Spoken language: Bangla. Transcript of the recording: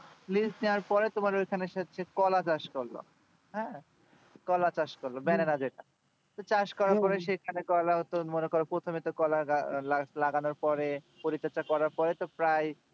liz নেওয়ার পরে ওখানে সে কলা চাষ করলো হ্যাঁ কলা চাষ করলো banana যেটা চাষ করার পরে সেখানে কলা হতো মনে কর প্রথমেত কলার গাছ লাগানো হতো পরে পরিচর্চা করার পরিই তো প্রায়